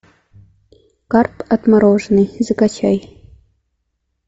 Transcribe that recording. карп отмороженный закачай